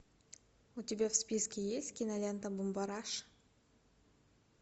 у тебя в списке есть кинолента бумбараш